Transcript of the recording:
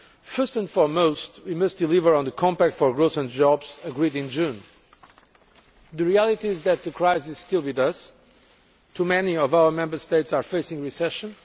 First and foremost, we must deliver on the Compact on Growth and Jobs agreed in June. The reality is that the crisis is still with us too many of our Member States are facing recession